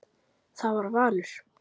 Það var valur.